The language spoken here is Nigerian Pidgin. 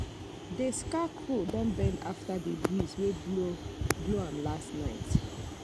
the scarecrow don bend after the breeze wey blow blow am last night